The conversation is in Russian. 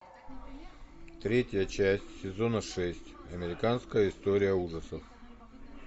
третья часть сезона шесть американская история ужасов